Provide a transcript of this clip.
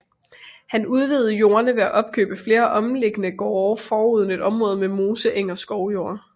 Han udvidede jordene ved at opkøbe flere omkringliggende gårde foruden et område med moseeng og skovjord